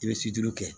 I bɛ siju kɛ